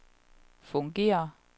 fungerer